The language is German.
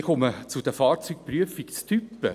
Ich komme zu den Fahrzeugprüfungstypen: